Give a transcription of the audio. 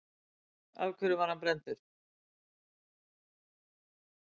Af hverju var hann brenndur?